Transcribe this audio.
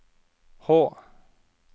H